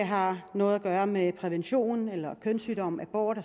har noget at gøre med prævention eller kønssygdom abort